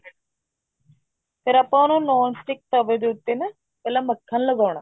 ਫ਼ੇਰ ਆਪਾਂ ਉਹਨੂੰ non stick ਤਵੇ ਦੇ ਉੱਤੇ ਨਾ ਪਹਿਲਾ ਮੱਖਣ ਲਗਾਉਣਾ